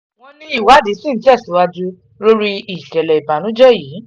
wọ́n ní ìwádìí ṣì ń tẹ̀síwájú lórí ìṣẹ̀lẹ̀ ìbànújẹ́ yìí